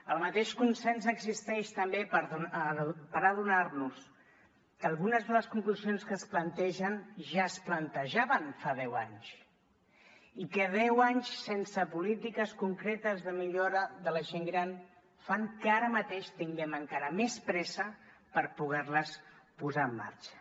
el mateix consens existeix també per adonar nos que algunes de les conclusions que es plantegen ja es plantejaven fa deu anys i que deu anys sense polítiques concretes de millora de la gent gran fan que ara mateix tinguem encara més pressa per poder les posar en marxa